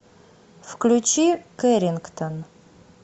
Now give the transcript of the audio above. включи кэррингтон